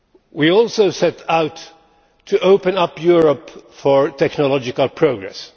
We also set out to open up Europe for technological progress.